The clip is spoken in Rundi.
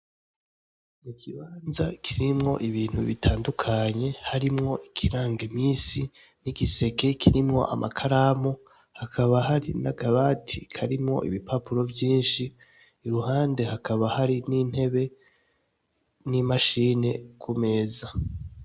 Ikibanza kirimwo ibintu bitandukanye harimwo ikiranga imisi harimwo, igiseke kirimwo amakaramu hakaba hari n'akabati karimwo ibipapuro vyishi; iruhande hakaba hari n'intebe n'imashini kumeza.